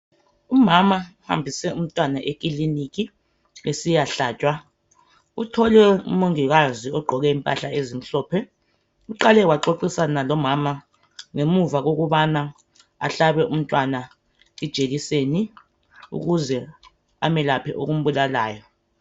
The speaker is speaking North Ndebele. Umama uhambise umntwana esibhedlela ukuyahlatshwa , umongikazi ugqoke impahla ezimhlophe ,uqale waxoxisana lomama ukuze amhlabe ijekiseni amelaphe okumbulalayo.